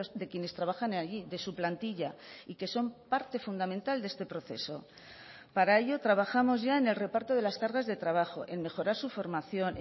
de quienes trabajan allí de su plantilla y que son parte fundamental de este proceso para ello trabajamos ya en el reparto de las cargas de trabajo en mejorar su formación